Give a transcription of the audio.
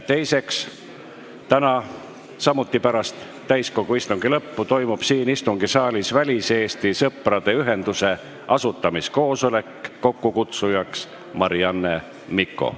Teiseks, samuti täna pärast täiskogu istungi lõppu toimub siin istungisaalis väliseesti sõprade ühenduse asutamiskoosolek, mille kokkukutsuja on Marianne Mikko.